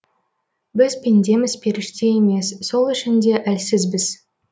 біз пендеміз періште емес сол үшін де әлсізбіз